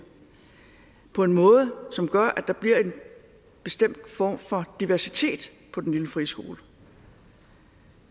på en måde som gør at der bliver en bestemt form for diversitet på den lille friskole